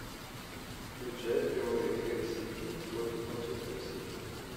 включай прямой эфир сити против манчестер сити